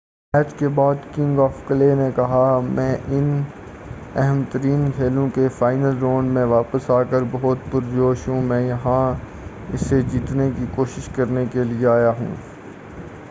match کے بعد king of clay نے کہا میں ان اہم ترین کھیلوں کے فائنل راؤنڈ میں واپس آ کر بہت پُرجوش ہوں میں یہاں اسے جیتنے کی کوشش کرنے کے لئے آیا ہوں